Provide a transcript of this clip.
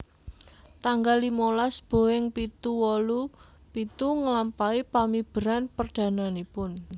Tanggal limolas Boeing pitu wolu pitu nglampahi pamiberan perdananipun